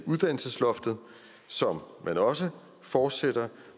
uddannelsesloftet som man også fortsætter